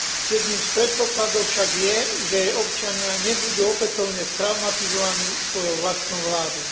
Jedným z predpokladov však je, že jej občania nebudú opätovne traumatizovaní svojou vlastnou vládou.